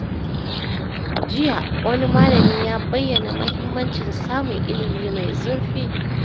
Jiya, wani malami ya bayyana muhimmancin samun ilimi mai zurfi.